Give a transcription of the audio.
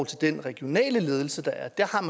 til den regionale ledelse der er der har